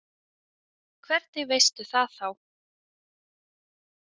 Hvernig veistu það þá?